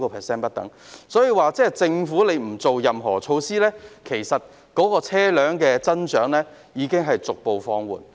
所以，即使政府不推出任何措施，車輛的增長其實已逐步放緩。